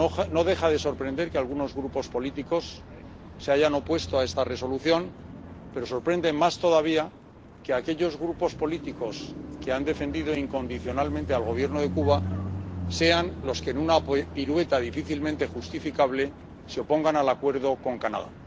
No deja de sorprender que algunos grupos políticos se hayan opuesto a esta Resolución, pero sorprende más todavía que aquellos grupos políticos que han defendido incondicionalmente al Gobierno de Cuba sean los que, en una pirueta difícilmente justificable, se opongan al acuerdo con Canadá.